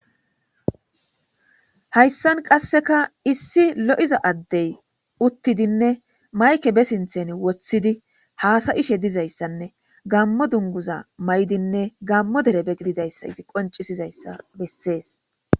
hayssan qasseka issi lo7iza addey uttidinne mayke be sinthen woththidi haasayishe dizayssanne gammo dunguza may7dinne gammo derebe gididayssa izi qoncisizayssa bessees